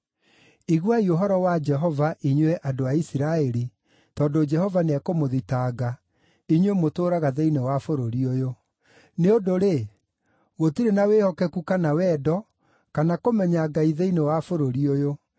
Iguai ũhoro wa Jehova, inyuĩ andũ a Isiraeli, tondũ Jehova nĩekũmũthitanga, inyuĩ mũtũũraga thĩinĩ wa bũrũri ũyũ: “Nĩ ũndũ-rĩ, gũtirĩ na wĩhokeku kana wendo, kana kũmenya Ngai thĩinĩ wa bũrũri ũyũ.